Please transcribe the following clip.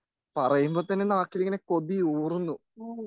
പറയുമ്പോൾതന്നെ നാക്കിലിങ്ങനെ കൊതിയൂറുന്നു